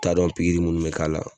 U t'a dɔn pikiri minnu bɛ k'a la